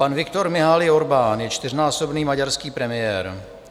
Pan Viktor Mihály Orbán je čtyřnásobný maďarský premiér.